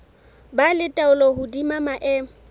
ba le taolo hodima maemo